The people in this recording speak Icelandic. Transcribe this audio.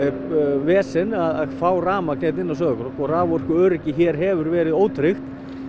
vesen að fá rafmagn hérna inn á Sauðárkrók raforkuöryggi hefur verið ótryggt